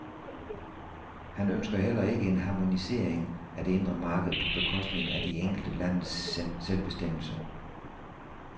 Han ønsker heller ikke en harmonisering af det indre marked på bekostning af de enkelte landes selvbestemmelse.